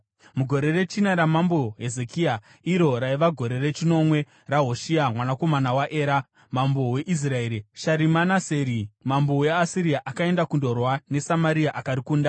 Mugore rechina ramambo Hezekia, iro raiva gore rechinomwe raHoshea mwanakomana waEra mambo weIsraeri, Sharimaneseri mambo weAsiria akaenda kundorwa neSamaria akarikunda.